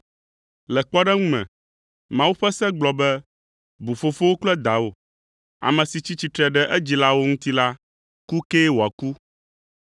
Le kpɔɖeŋu me, Mawu ƒe Se gblɔ be, ‘Bu fofowò kple dawò; ame si tsi tsitre ɖe edzilawo ŋuti la, ku kee wòaku.’